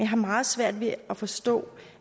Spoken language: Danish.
har meget svært ved at forstå